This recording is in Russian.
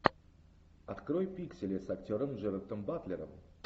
открой пиксели с актером джерардом батлером